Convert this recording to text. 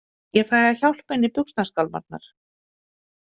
Ég fæ að hjálpa henni í buxnaskálmarnar.